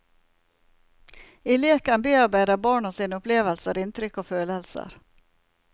I leken bearbeider barna sine opplevelser, inntrykk og følelser.